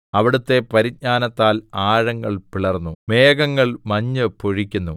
അവിടുത്തെ പരിജ്ഞാനത്താൽ ആഴങ്ങൾ പിളർന്നു മേഘങ്ങൾ മഞ്ഞ് പൊഴിക്കുന്നു